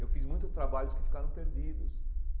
Eu fiz muitos trabalhos que ficaram perdidos.